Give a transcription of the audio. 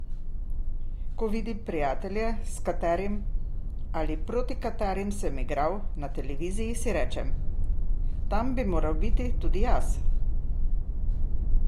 Ko vidim prijatelje, s katerimi ali proti katerim sem igral, na televiziji, si rečem: 'tam bi moral biti tudi jaz'.